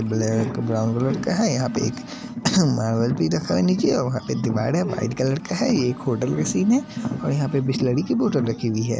Black brown colour का है यहाँ पे एक मार्बल भी रखा है नीचे और वहा पे दिवार है वाइट कलर का है ये एक होटल का सीन है और यहाँ पे बिसलरी की बोतल रखी हुई है।